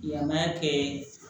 Yama kɛ